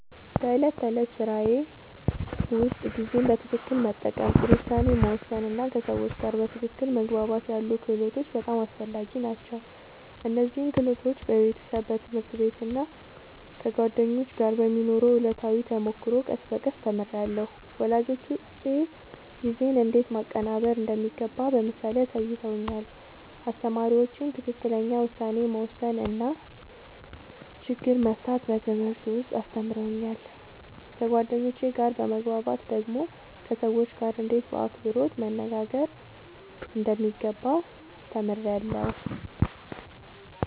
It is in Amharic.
በዕለት ተዕለት ሥራዬ ውስጥ ጊዜን በትክክል መጠቀም፣ ጥሩ ውሳኔ መወሰን እና ከሰዎች ጋር በትክክል መግባባት ያሉ ክህሎቶች በጣም አስፈላጊ ናቸው። እነዚህን ክህሎቶች በቤተሰብ፣ በትምህርት ቤት እና ከጓደኞች ጋር በሚኖረው ዕለታዊ ተሞክሮ ቀስ በቀስ ተምሬያለሁ። ወላጆቼ ጊዜን እንዴት ማቀናበር እንደሚገባ በምሳሌ አሳይተውኛል፣ አስተማሪዎቼም ትክክለኛ ውሳኔ መወሰን እና ችግር መፍታት በትምህርት ውስጥ አስተምረውኛል። ከጓደኞቼ ጋር በመግባባት ደግሞ ከሰዎች ጋርእንዴት በአክብሮት መነጋገር እንደሚገባ ተምሬያለሁ።